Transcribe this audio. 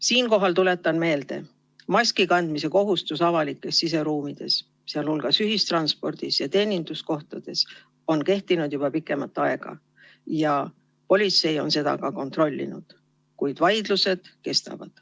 Siinkohal tuletan meelde: maskikandmise kohustus avalikes siseruumides, sh ühistranspordis ja teeninduskohtades, on kehtinud juba pikemat aega ja politsei on seda ka kontrollinud, kuid vaidlused kestavad.